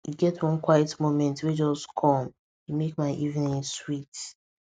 e get one quiet moment wey just come e make my evening sweet